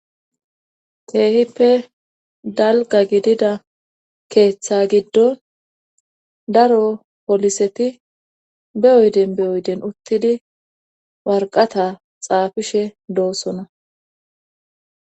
Keehippe dalga gidida keeththa giddo daro poliseti beyoyden beyoyden uttidi warqata xaafishe doossona.